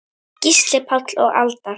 Gísli Páll og Alda.